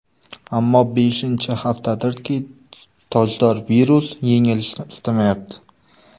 Ammo beshinchi haftadirki, tojdor virus yengilishni istamayapti.